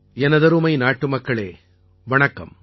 எனதருமை நாட்டு மக்களே வணக்கம்